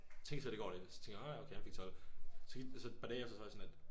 Tænkte slet ikke over det så tænkte jeg ah ja okay han fik 12. Så gik der så et par dage og så var jeg sådan lidt